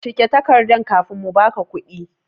Cike takardan kafin mu ba ka kuɗi!